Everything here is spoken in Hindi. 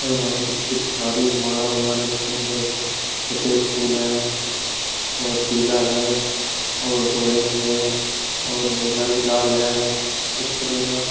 और इन्होंने कितनी सारी माला बना रखी है देखो। सफेद फूल है और पीला है और ऑरेंज है और नीला भी लाल है। अच्छा लग रेया ।